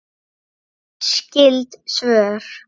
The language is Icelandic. Skyld svör